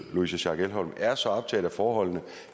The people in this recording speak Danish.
louise schack elholm er så optaget af forholdene